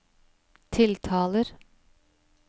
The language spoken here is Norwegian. tiltaler